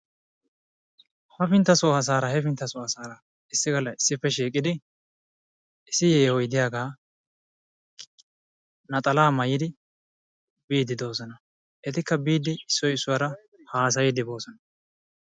Hapintta so asaara hepintta so asaara issippe shiiqidi issi yeehoyi diyaga naxalaa maayidi biiddi de"oosona. Etikka biiddi issoyi issuwara haasayiiddi boosona.